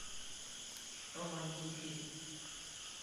романтики